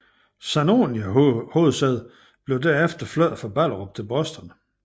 Saniona hovedsæde blev derefter flyttet fra Ballerup til Boston